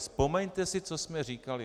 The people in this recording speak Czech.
Vzpomeňte si, co jsme říkali.